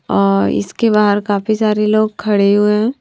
और इसके बाहर काफी सारे लोग खड़े हुए हैं।